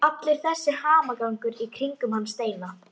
Allur þessi hamagangur í kringum hann Steina!